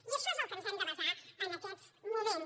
i això és en allò en què ens hem de basar en aquests moments